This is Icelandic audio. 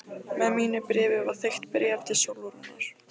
Með mínu bréfi var þykkt bréf til Sólrúnar.